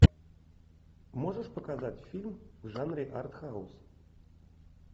можешь показать фильм в жанре артхаус